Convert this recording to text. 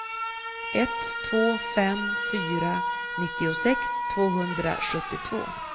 ett två fem fyra nittiosex tvåhundrasjuttiotvå